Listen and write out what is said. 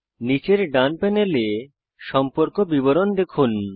নীচের ডান প্যানেলে সম্পর্ক বিবরণ দেখুন